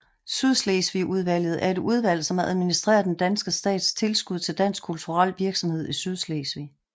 Sydslesvigudvalget er et udvalg som administerer den danske stats tilskud til dansk kulturel virksomhed i Sydslesvig